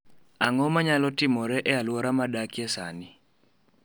Ang’o ma nyalo timore e alwora ma adakie sani?